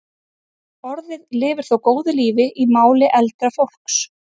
Orðið lifir þó góðu lífi í máli eldra fólks.